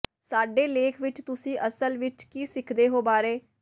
ਸਾਡੇ ਲੇਖ ਵਿਚ ਤੁਸੀਂ ਅਸਲ ਵਿਚ ਕੀ ਸਿੱਖਦੇ ਹੋ ਬਾਰੇ